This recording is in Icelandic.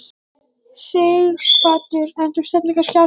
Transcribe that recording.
Sighvatur: En þú stefnir kannski að því?